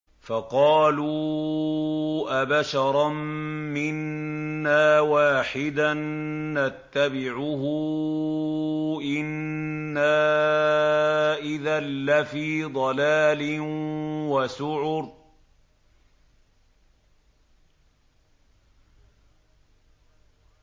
فَقَالُوا أَبَشَرًا مِّنَّا وَاحِدًا نَّتَّبِعُهُ إِنَّا إِذًا لَّفِي ضَلَالٍ وَسُعُرٍ